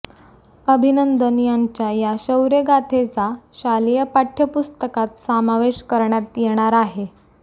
अभिनंदन यांच्या या शौर्यगाथेचा शालेय पाठ्यपुस्तकात समावेश करण्यात येणार आहे